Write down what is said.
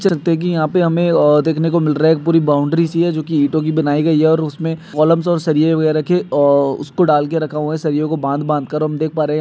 हमे आ देख ने को मिल रहा है पूरी बाउंड्रीसी है जो की ईटों की बनाई गई है इसमे कॉलम्स और सरिये वगैरा के आ उसको डाल के रखा हुआ है सरिओं कों बांध बांध कर और हम देख पा रहे है--